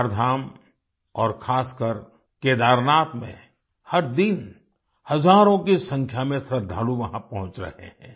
चारधाम और खासकर केदारनाथ में हर दिन हजारों की संख्या में श्रद्धालु वहां पहुँच रहे हैं